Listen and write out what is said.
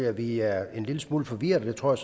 at vi er en lille smule forvirret og det tror